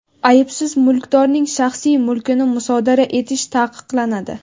Aybsiz mulkdorning shaxsiy mulkini musodara etish taqiqlanadi.